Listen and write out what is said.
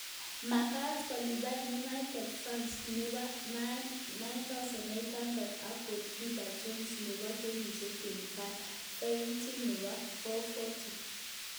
Magaat kolipan united fainit nebo �8,900, ak kolipan jones nebo kenyishek 25 fainit nebo �4,450